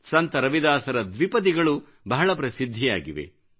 ಸಂತ ರವಿದಾಸರ ದ್ವಿಪದಿಗಳು ಬಹಳ ಪ್ರಸಿದ್ಧಿಯಾಗಿವೆ